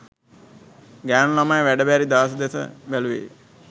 ගෑනු ළමයි වැඩ බැරි දාස දෙස බැලුවේ